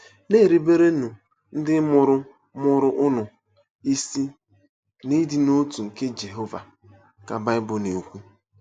“Na-eruberenụ ndị mụrụ mụrụ unu isi n’ịdị n’otu nke Jehova,” ka Bible na-ekwu.